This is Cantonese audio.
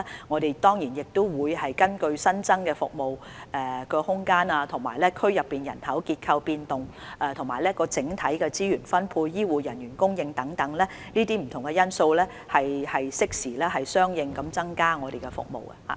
我們會根據新增的服務空間、當區人口結構變化、整體資源分配，以及醫護人員供應等不同因素，適時相應地增加服務。